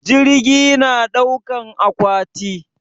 Jirgi na ɗaukan akwati?